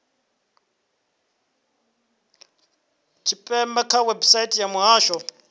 tshipembe kha website ya muhasho